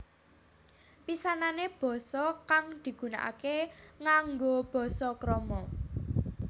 Pisanané basa kang digunakaké nganggo basa krama